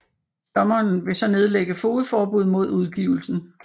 Dommeren vil så nedlægge fogedforbud mod udgivelsen